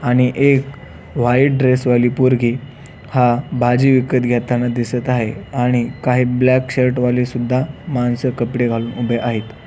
आणि एक white dress वाली पोरगी हा भाजी विकत घेताना दिसत आहे आणि काही ब्लॅक शर्ट वाले सुद्धा माणस कपडे घालून उभे आहेत.